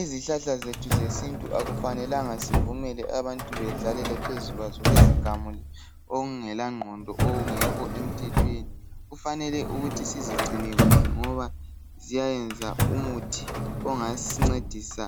izihlahlazethu zesintu akumelanga sivumele abantu bedlalele phezulu kwazo bezigamule okungela nqondo okungekho emthethweni kufanele ukuthi sizicine kuhle ngoba ziyayenza umuthi ongasincedisa